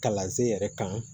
Kalansen yɛrɛ kan